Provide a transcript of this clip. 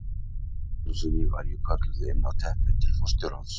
Einu sinni var ég kölluð inn á teppi til forstjórans.